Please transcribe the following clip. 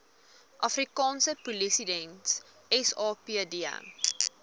afrikaanse polisiediens sapd